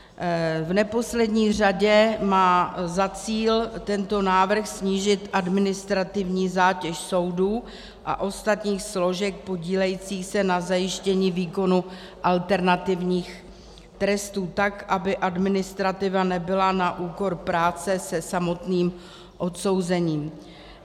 V neposlední řadě má za cíl tento návrh snížit administrativní zátěž soudů a ostatních složek podílejících se na zajištění výkonu alternativních trestů, tak aby administrativa nebyla na úkor práce se samotným odsouzením.